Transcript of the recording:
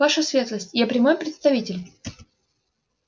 ваша светлость я прямой представитель